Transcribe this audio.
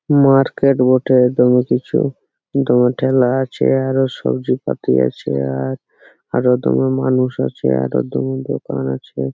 Market বটে দামি কিছু হোটেল আছে আরো সব্জিপাতি আছে আর আরো দুটো মানুষ আছে আরো দুটো দোকান আছে।